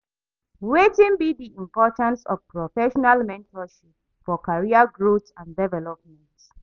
Wetin be di importance of professional mentorship for career growth and development?